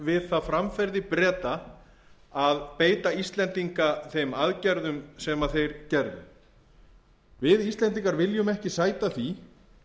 við það framferði breta að beita íslendinga þeim aðgerðum sem þeir gerðu við íslendingar viljum ekki sæta því